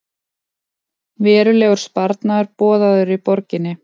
Verulegur sparnaður boðaður í borginni